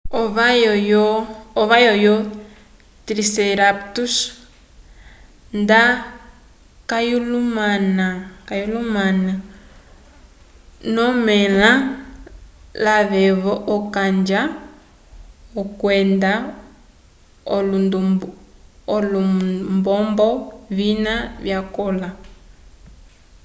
ovayo yo triceratops nda kayalumani ño amela lavevo ocanja kwenda olumbombo vina vya kola